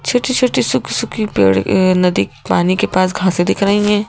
छोटी-छोटी सुख सुखी पेड़ अह नदी पानी के पास घासे से दिख रही हैं।